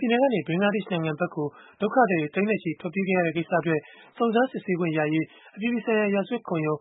ပြည်နယ်ကနေ ဘင်္ဂလားဒေ့ရှ်နိုင်ငံဘက်ကို ဒုက္ခသည်တွေ သိန်းနဲ့ချီ ထွက်ပြေးခဲ့ရတဲ့ ကိစ္စအတွက် စုံစမ်းစစ်ဆေးခွင့်ရရေး အပြည်ပြည်ဆိုင်ရာ ရာဇဝတ်ခုံရုံး